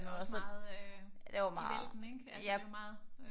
Det er også meget øh i vælten ikke altså det er jo meget